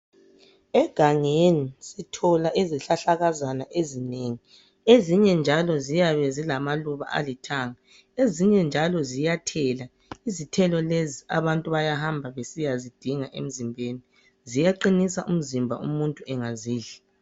Egangeni sithola izihlahlakazana ezinengi . Ezinye njalo ziyabe zilamaluba alithanga. Ezinye njalo ziyathela. Izithelo lezi abantu bayahamba besiyazidinga emzimbeni. Ziyaqinisa umzimba umuntu engazidla.